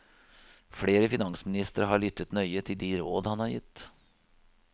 Flere finansministre har lyttet nøye til de råd han har gitt.